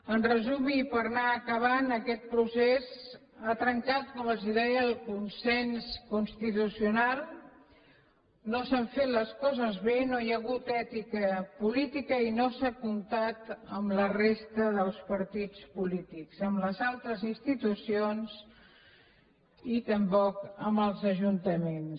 en resum i per anar acabant aquest procés ha trencat com els deia el consens constitucional no s’han fet les coses bé no hi ha hagut ètica política i no s’ha comptat amb la resta dels partits polítics ni amb les altres institucions i tampoc amb els ajuntaments